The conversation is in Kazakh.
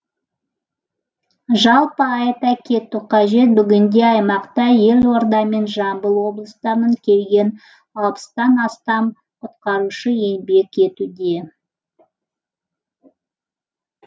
жалпы айта кету қажет бүгінде аймақта елорда мен жамбыл облыстарынан келген алпыстан астам құтқарушы еңбек етуде